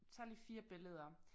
Tager lige 4 billeder